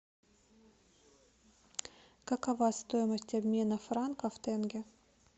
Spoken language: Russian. какова стоимость обмена франков в тенге